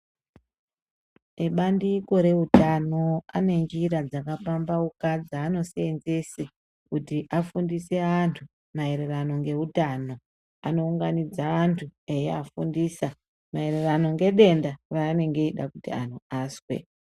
Ebandiko rehutano anenjira dzakapambawuka dzanosenzese kuti afundise antu mayererano ngehutano. Anowunganidza antu eyafundisa mayererano ngedenda ranenge rakuti antu aswe.